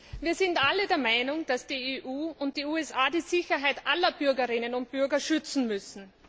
Frau Präsidentin! Wir sind alle der Meinung, dass die EU und die USA die Sicherheit aller Bürgerinnen und Bürger schützen müssen.